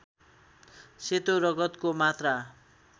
सेतो रगतको मात्रा